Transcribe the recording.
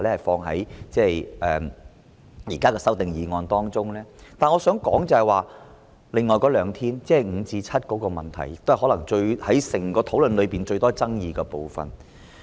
但是，我想討論的是另外兩天侍產假，即由5天增至7天的問題，可能也是整個討論中，最多爭議的部分。